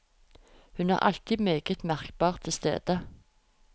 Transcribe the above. Hun er alltid meget merkbart til stede.